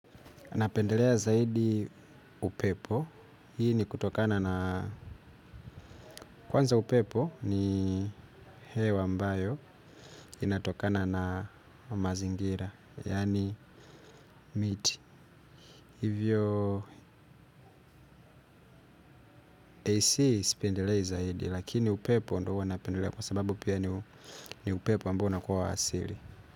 Napendelea zaidi upepo, hii nikutokana na, kwanza upepo ni hewa ambayo, inatokana na mazingira, yani miti. Hivyo, AC sipendelei zaidi, lakini upepo ndo huwa napendelea kwa sababu pia ni upepo ambao unakuwa asili.